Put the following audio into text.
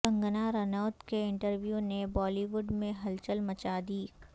کنگنا رناوت کے انٹرویو نے بالی وڈ میں ہلچل مچا دی